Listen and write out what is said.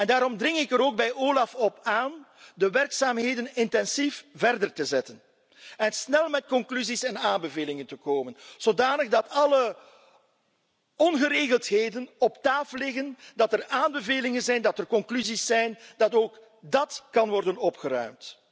Daarom dring ik er ook bij OLAF op aan de werkzaamheden intensief voort te zetten en snel met conclusies en aanbevelingen te komen, zodat alle ongeregeldheden op tafel liggen, dat er aanbevelingen zijn, dat er conclusies zijn, dat ook dát kan worden opgeruimd.